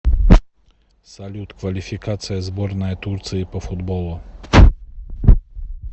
салют квалификация сборная турции по футболу